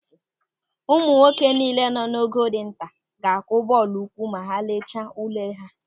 Ụmụ akwụkwọ niile nọ ogo dị nta ga-akụ bọọlụ ụkwụ ma ha lechaa ule ha.